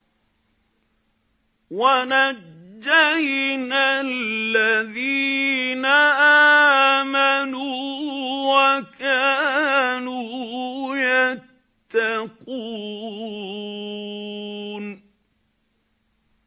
وَنَجَّيْنَا الَّذِينَ آمَنُوا وَكَانُوا يَتَّقُونَ